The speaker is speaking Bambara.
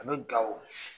An bɛ gawo